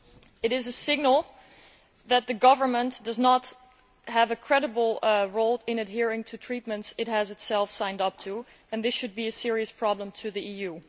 It is a signal that the government does not play a credible role in adhering to agreements it has itself signed up to, and this should be a serious problem for the EU.